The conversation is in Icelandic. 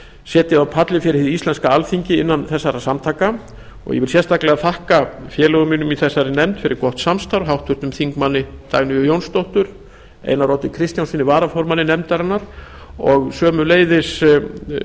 setið á palli fyrir hið íslenska alþingi innan þessara samtaka ég vil sérstaklega þakka félögum mínum í nefndinni fyrir gott samstarf háttvirtum þingmönnum dagnýju jónsdóttur einari oddi kristjánssyni varaformanni nefndarinnar og sömuleiðis